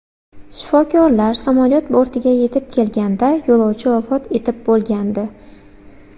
Shifokorlar samolyot bortiga yetib kelganda, yo‘lovchi vafot etib bo‘lgandi.